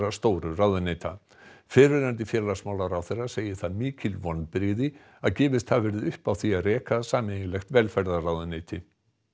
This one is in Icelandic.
stóru ráðuneyta fyrrverandi félagsmálaráðherra segir það mikil vonbrigði að gefist hafi verið upp á því að reka sameiginlegt velferðarráðuneyti